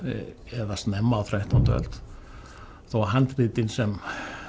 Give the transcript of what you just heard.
eða snemma á þrettándu öld þó handritin sem